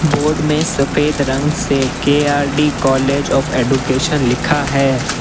Board में सफेद रंग से K R D college of education लिखा है।